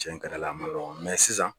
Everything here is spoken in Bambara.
Cɛn ka di Ala ye a man nɔgɔ sisan